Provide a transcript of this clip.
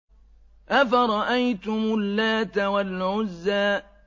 أَفَرَأَيْتُمُ اللَّاتَ وَالْعُزَّىٰ